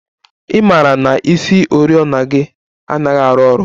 I mara na isioriọna gị anaghị arụ ọrụ?